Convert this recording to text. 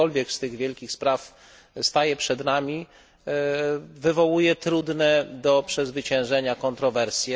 Cokolwiek z tych wielkich spraw staje przed nami, wywołuje trudne do przezwyciężenia kontrowersje.